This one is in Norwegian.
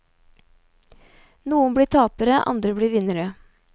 Noen blir tapere, andre blir vinnere.